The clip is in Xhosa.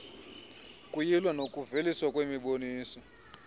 ukuyilw nokuveliswa kwemiboniso